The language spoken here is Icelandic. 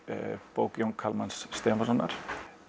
bók Jóns Kalmans Stefánssonar